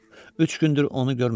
Üç gündür onu görməmişəm.